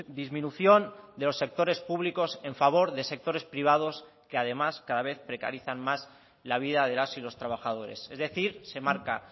disminución de los sectores públicos en favor de sectores privados que además cada vez precarizan más la vida de las y los trabajadores es decir se marca